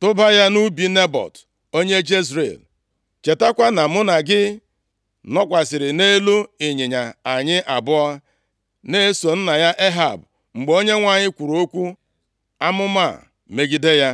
tụba ya nʼubi Nebọt onye Jezril. Chetakwa na mụ na gị nọkwasịrị nʼelu ịnyịnya, anyị abụọ, na-eso nna ya Ehab, mgbe Onyenwe anyị kwuru okwu amụma a megide ya.